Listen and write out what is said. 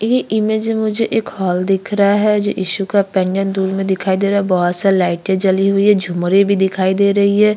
ये इमेज में मुझे एक हॉल दिख रहा है जो इशू का पेन्डेन्ट दूर में दिखाई दे रहा है बहोत सारी लाइटें जली हुई हैं झुमरे भी दिखाई दे रही है।